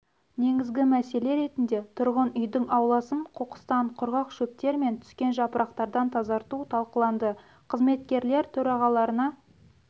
негізгі мәселе ретінде тұрғын үйдің ауласын қоқыстан құрғақ шөптер мен түскен жапырақтардан тазарту талқыланды қызметкерлер төрағаларына